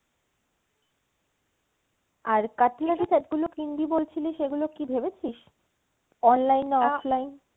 আর cutlery set গুলো কিনবি বলেছিলি সেগুলো কি ভেবেছিস? online না offline?